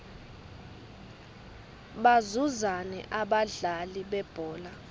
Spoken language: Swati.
bazuzani abadlali bebhola